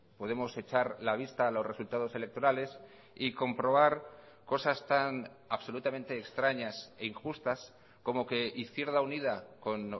podemos echar la vista a los resultados electorales y comprobar cosas tan absolutamente extrañas e injustas como que izquierda unida con